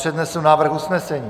Přednesu návrh usnesení.